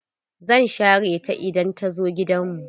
Zan share ta idan ta zo gidan mu.